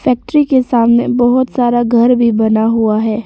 Factory के सामने बहोत सारा घर भी बना हुआ है।